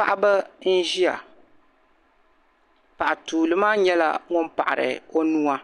Paɣaba n-ʒiya. Paɣa tuuli maa nyɛla ŋun paɣi-ri o nua,